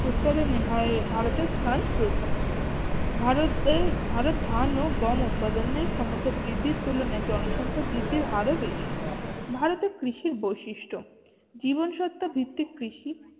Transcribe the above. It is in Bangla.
উৎপাদনে ভা ভারতের স্থান প্রথম ভারতে ভারত ধান ও গম উৎপাদনে ক্ষমতা বৃদ্ধির তুলনায় জনসংখ্যা বৃদ্ধির হার ও বেশি। ভারতে কৃষির বৈশিষ্ট্য, জীবনসত্য ভিত্তিক কৃষি